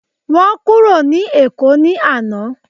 Wọn kúrò ní èkó ni àná